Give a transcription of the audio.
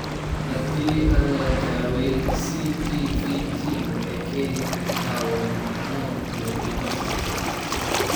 Haddii aan la daweyn CPVT waxay keeni kartaa wadna xanuun iyo dhimasho.